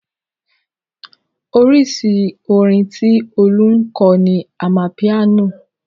Oríṣi orin tí Olú ń kọ ni amapiano.